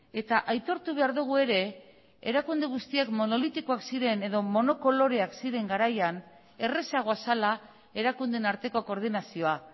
eta aitortu behar dugu ere erakunde guztiak monolitikoak ziren edo monokoloreak ziren garaian errazagoa zela erakundeen arteko koordinazioa